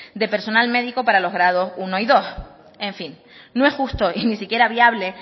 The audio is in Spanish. de personal médico para los grados unos y dos en fin no es justo y ni siquiera viable